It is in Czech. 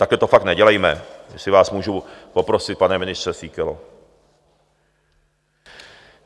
Takhle to fakt nedělejme, jestli vás můžu poprosit, pane ministře Síkelo.